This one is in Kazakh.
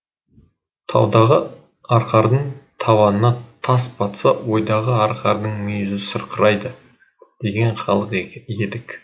таудағы арқардың табанына тас батса ойдағы арқардың мүйізі сырқырайды деген халық едік